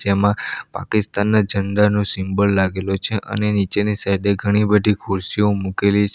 એમાં પાકિસ્તાનના ઝંડા નો સિમ્બોલ લાગેલો છે અને નીચેની સાઇડે ઘણી બધી ખુરશીઓ મૂકેલી છે.